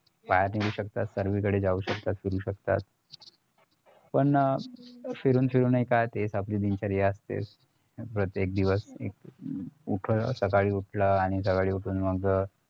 आत येऊ शकतात सर्वीकडे जाऊ शकतात फिरू शकतात पण फिरून फिरून नाय का तीच आपली दिनचर्या असते प्रत्येक दिवस एक सकाळी उठलं आणि सकाळी उठून मग